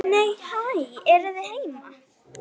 Nei, hæ, eruð þið heima!